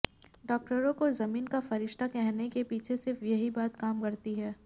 डाक्टरों को जमीन का फरिश्ता कहने के पीछे सिर्फ यही बात काम करती है